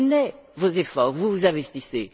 Je connais vos efforts, vous vous investissez.